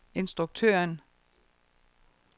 instruktøren